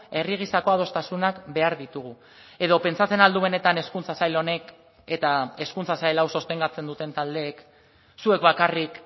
herri gisako adostasunak behar ditugu edo pentsatzen al du benetan hezkuntza sail honek eta hezkuntza sail hau sostengatzen duten taldeek zuek bakarrik